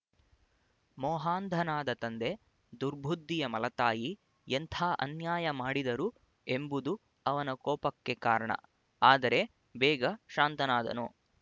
ಮೋಹಾಂಧನಾದ ತಂದೆ ದುರ್ಬುದ್ಧಿಯ ಮಲತಾಯಿ ಎಂಥ ಅನ್ಯಾಯ ಮಾಡಿದರು ಎಂಬುದು ಅವನ ಕೋಪಕ್ಕೆ ಕಾರಣ ಆದರೆ ಬೇಗ ಶಾಂತನಾದನು